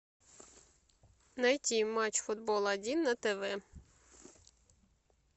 найти матч футбол один на тв